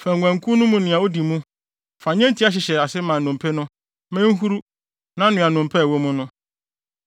fa nguankuw no mu nea odi mu. Fa nnyentia hyehyɛ ase ma nnompe no; ma enhuru na noa nnompe a ɛwɔ mu no.